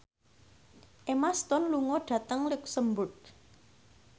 Emma Stone lunga dhateng luxemburg